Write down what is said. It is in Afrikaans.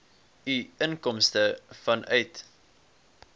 u inkomste vanuit